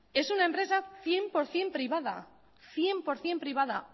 en una empresa cien por ciento privada cien por ciento privada